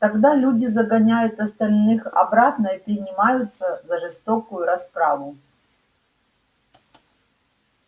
тогда люди загоняют остальных обратно и принимаются за жестокую расправу